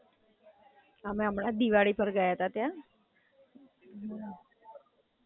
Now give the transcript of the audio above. અમે હમણાં જ દિવાળી પર ગયા તા ત્યાં.